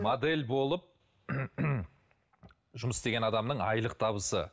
модель болып жұмыс істеген адамның айлық табысы